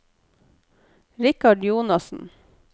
Richard Jonassen